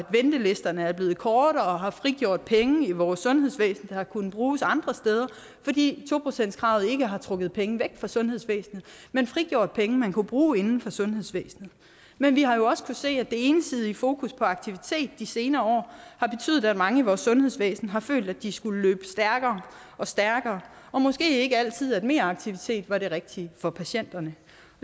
ventelisterne er blevet kortere og har frigjort penge i vores sundhedsvæsen der har kunnet bruges andre steder fordi to procentskravet ikke har trukket penge væk fra sundhedsvæsenet men frigjort penge man kunne bruge inden for sundhedsvæsenet men vi har jo også se at det ensidige fokus på aktivitet i de senere år har betydet at mange i vores sundhedsvæsen har følt at de skulle løbe stærkere og stærkere og måske ikke altid følt at meraktivitet var det rigtige for patienterne